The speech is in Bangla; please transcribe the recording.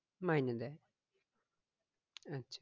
মাইনে দেই আচ্ছা